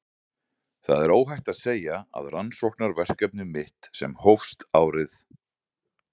Það er óhætt að segja að rannsóknarverkefni mitt sem hófst árið